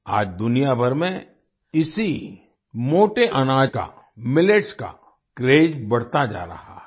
आज दुनिया भर में इसी मोटे अनाज का मिलेट्स का क्रेज बढ़ता जा रहा है